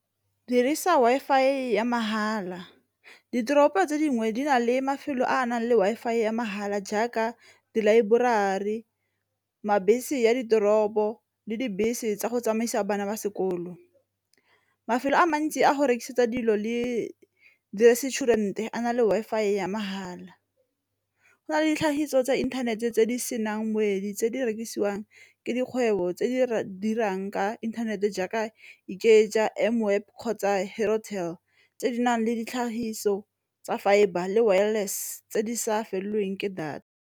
Dirisa Wi-Fi ya mahala ditoropo tse dingwe di na le mafelo a a nang le Wi-Fi ya mahala jaaka dilaeborari, a ditoropo le dibese tsa go tsamaisa bana ba sekolo. Mafelo a mantsi a go rekisetsa dilo le di-restaurant a na le Wi-Fi ya mahala, go na le ditlhagiso tsa inthanete tse di senang motswedi tse di rekisiwang ke di kgwebo tse di dirang ka inthanete jaaka kgotsa tse di nang le ditlhagiso tsa fibre le wireless tse di sa felelweng ke data.